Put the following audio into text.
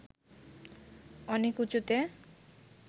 অনেক উঁচুতে